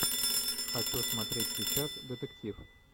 хочу смотреть сейчас детектив